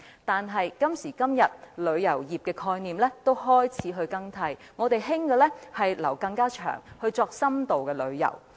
但是，旅遊業的概念已開始更替，現時流行的是逗留更長時間作深度旅遊。